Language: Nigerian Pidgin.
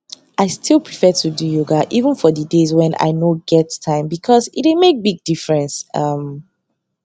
i still prefer to do yoga even for di days wen i nor get time because e dey make big difference um